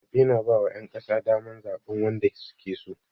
Zaɓe na ba wa ƴan ƙasa daman zaɓan wanda suke so